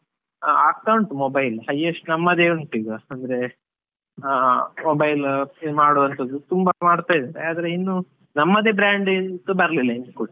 ಆಗ್ತಾ ಉಂಟು mobile highest ನಮ್ಮದೆ ಉಂಟು ಈಗ, ಅಂದ್ರೆ ಆ mobile ಮಾಡುವಂತದು ತುಂಬಾ ಮಾಡ್ತಾ ಇದಾರೆ, ಆದ್ರೆ ಇನ್ನು ನಮ್ಮದೆ brand ಬರ್ಲಿಲ್ಲ ಇನ್ನು ಕೂಡ.